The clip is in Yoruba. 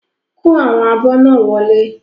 Kó àwọn abọ́ náà Wọlé.